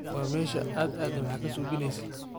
War mesha aaa aadey maxa kasuubineyse.